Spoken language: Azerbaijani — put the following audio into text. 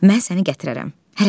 Mən səni gətirərəm.